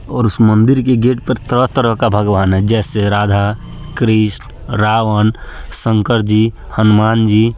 और उस मंदिर के गेट पर तरह-तरह का भगवान है जैसे राधा कृष्ण रावण शंकरजी हनुमानजी---